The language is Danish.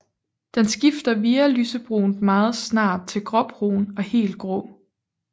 Den skifter via lysebrunt meget snart til gråbrun og helt grå